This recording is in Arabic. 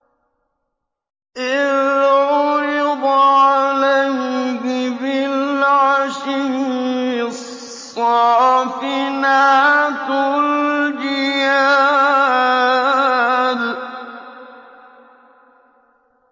إِذْ عُرِضَ عَلَيْهِ بِالْعَشِيِّ الصَّافِنَاتُ الْجِيَادُ